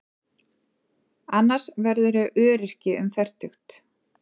Annars verðurðu öryrki um fertugt.